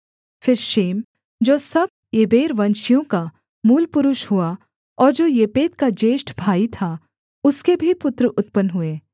फिर शेम जो सब एबेरवंशियों का मूलपुरुष हुआ और जो येपेत का ज्येष्ठ भाई था उसके भी पुत्र उत्पन्न हुए